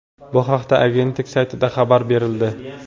Bu haqda agentlik saytida xabar berildi .